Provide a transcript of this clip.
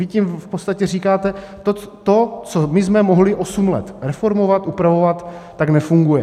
Vy tím v podstatě říkáte, to, co my jsme mohli osm let reformovat, upravovat, tak nefunguje.